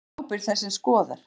Hver er ábyrgð þess sem skoðar?